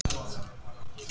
Alla samveru með þér.